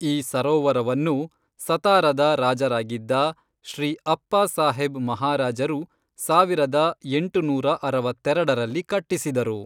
ಈ ಸರೋವರವನ್ನು ಸತಾರದ ರಾಜರಾಗಿದ್ದ ಶ್ರೀ ಅಪ್ಪಾಸಾಹೇಬ್ ಮಹಾರಾಜರು ಸಾವಿರದ ಎಂಟುನೂರ ಅರವತ್ತೆರಡರಲ್ಲಿ ಕಟ್ಟಿಸಿದರು.